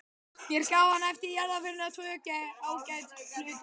Mér gaf hann eftir jarðarförina tvö ágæt plötualbúm.